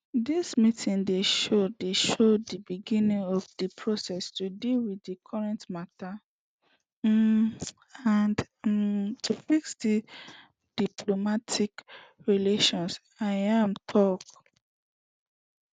dis meeting dey show dey show di beginning of di process to deal wit di current mata um and um to fix di diplomatic relations im tok